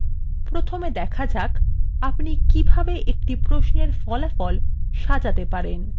প্রথমে দেখা যাক আপনি কিভাবে একটি প্রশ্নের ফলাফল সাজাতে পারেন